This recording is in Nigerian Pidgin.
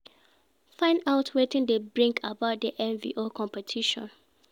Find out wetin de bring about di envy or competition